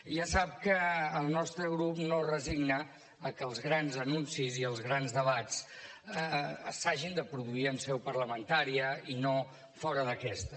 ja sap que el nostre grup no es resigna a que els grans anuncis i els grans debats s’hagin de produir en seu parlamentària i no fora d’aquesta